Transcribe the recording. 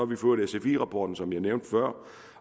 vi fået sfi rapporten som jeg nævnte før